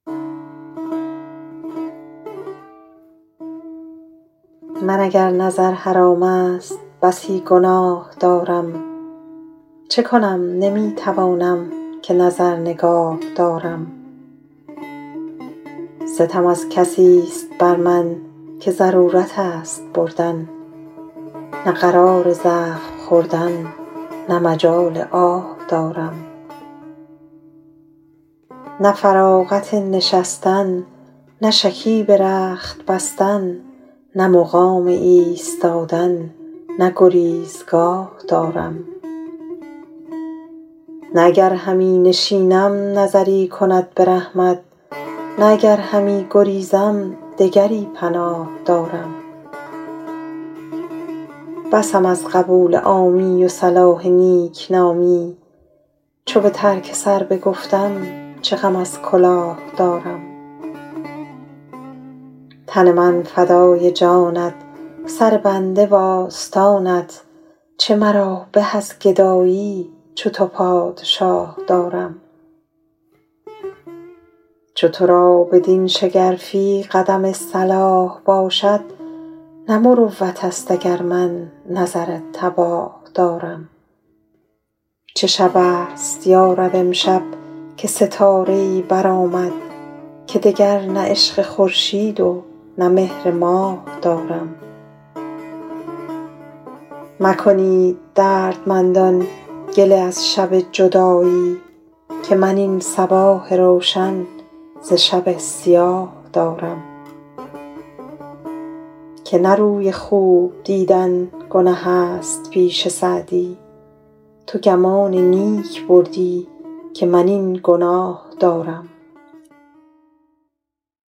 من اگر نظر حرام است بسی گناه دارم چه کنم نمی توانم که نظر نگاه دارم ستم از کسیست بر من که ضرورت است بردن نه قرار زخم خوردن نه مجال آه دارم نه فراغت نشستن نه شکیب رخت بستن نه مقام ایستادن نه گریزگاه دارم نه اگر همی نشینم نظری کند به رحمت نه اگر همی گریزم دگری پناه دارم بسم از قبول عامی و صلاح نیکنامی چو به ترک سر بگفتم چه غم از کلاه دارم تن من فدای جانت سر بنده وآستانت چه مرا به از گدایی چو تو پادشاه دارم چو تو را بدین شگرفی قدم صلاح باشد نه مروت است اگر من نظر تباه دارم چه شب است یا رب امشب که ستاره ای برآمد که دگر نه عشق خورشید و نه مهر ماه دارم مکنید دردمندان گله از شب جدایی که من این صباح روشن ز شب سیاه دارم که نه روی خوب دیدن گنه است پیش سعدی تو گمان نیک بردی که من این گناه دارم